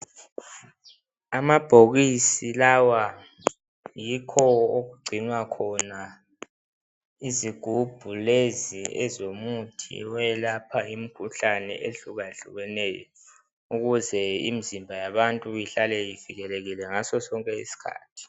Amabhokisi lawa yikho okugcinwa khona izigubhu lezi ezomuthi eyelapha imikhuhlane ehlukehlukeneyo. Ukuze imizimba yabantu ihlale ivikelekile ngaso sonke isikhathi.